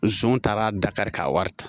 Zon taara dakari ka wari ta